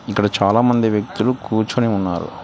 ఇక్కడ చాలామంది వ్యక్తులు కూర్చుని ఉన్నారు.